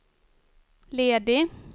ledig